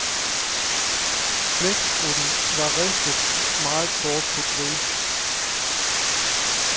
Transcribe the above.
Blæksprutten var ristet meget kort på grill.